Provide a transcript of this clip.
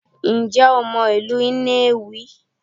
Ǹjẹ́ o mọ ìlú Nnewi?